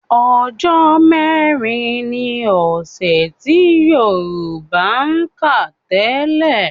Ọjọ́ mẹ́rin ni ọ̀sẹ̀ tí Yorùbá ń kà tẹ́lẹ̀